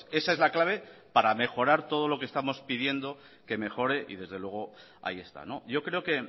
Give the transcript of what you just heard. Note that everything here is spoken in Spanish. esa es la clave para mejorar todo lo que estamos pidiendo que mejore y desde luego ahí está yo creo que